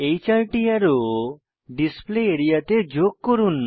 এই 4 টি arrow display area তে যোগ করুন